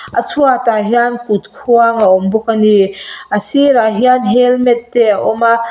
a chhuatah hian kut khuang a awm bawk a ni a sirah hian helmet te a awm a.